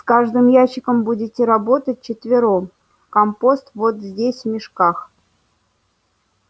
с каждым ящиком будете работать вчетвером компост вот здесь в мешках